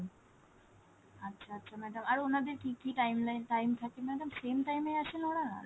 আচ্ছা আচ্ছা madam আর ওনাদের কি কি timeline time থাকে madam same time এ আছেন ওরা ?